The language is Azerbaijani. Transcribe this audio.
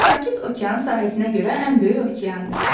Sakit okean sahəsinə görə ən böyük okeandır.